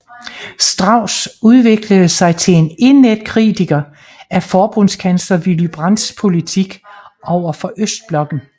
Strauß udviklede sig til en indædt kritiker af Forbundskansler Willy Brandt politik overfor Østblokken